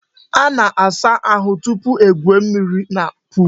A na-asa ahu tupu egwuo mmiri na pol.